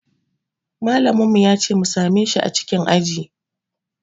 Malamin mu ya ce mu same shi a cikin aji